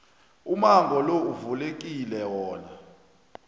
umango lo uvulekile wona